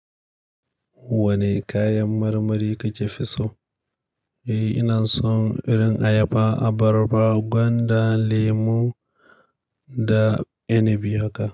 Wane kayan marmari kika fi so? Eee, ina son irin ayaba, abarba, gwanda, lemu da inabi haka.